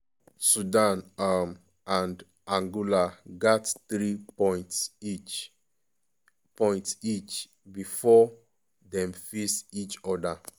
sudan um and angola gat three points each points each bifor dem face each oda.